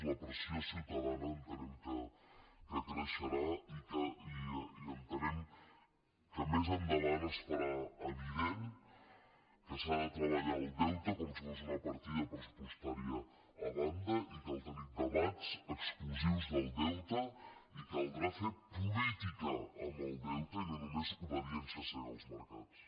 la pressió ciutadana entenem que creixerà i entenem que més endavant es farà evident que s’ha de treballar el deute com si fos una partida pressupostària a banda i cal tenir debats exclusius del deute i caldrà fer política amb el deute i no només obediència cega als mercats